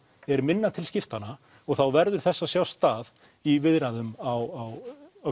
er minna til skiptanna og þá verður þess að sjá stað í viðræðum á